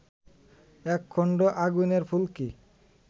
এক খণ্ড আগুনের ফুলকি